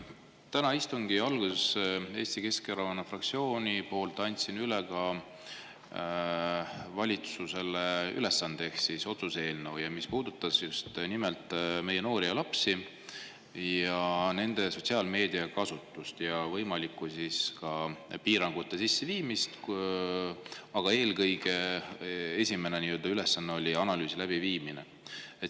Täna istungi alguses andsin Eesti Keskerakonna fraktsiooni poolt üle otsuse eelnõu, milles valitsusele ülesanne, mis puudutab just nimelt meie noori ja lapsi, nende sotsiaalmeediakasutust ja ka võimalikku piirangute sisseviimist, aga esmane ülesanne on eelkõige analüüsi läbiviimine.